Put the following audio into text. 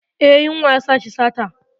Eh, yunwa yasa shi sata.